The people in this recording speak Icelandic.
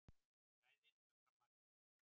Gæðin umfram magnið